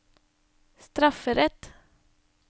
strafferett